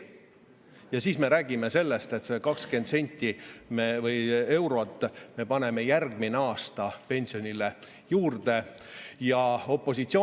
Ja siis me räägime sellest, et me paneme järgmisel aastal pensionile juurde 20 eurot!